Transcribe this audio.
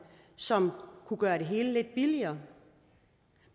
som kunne gøre det hele lidt billigere